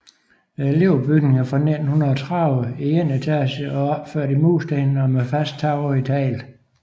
Elevbygningen er fra 1930 i en etage opført i mursten og med fast tag i tegl